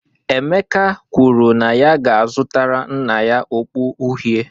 Emeka kwuru na ya ga-azụta nna ya okpu uhie